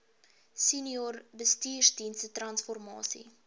senior bestuursdienste transformasie